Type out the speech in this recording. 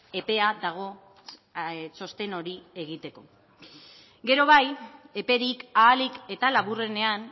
epea dago txosten hori egiteko gero bai eperik ahalik eta laburrenean